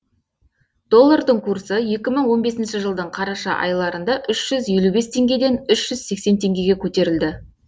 доллардың курсы екі мың он бесінші жылдың қараша айларында үш жүз елу бес теңгеден үш жүз сексен теңгеге көтерілді